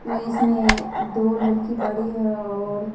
में इसमें दो लड़की बड़ी है और--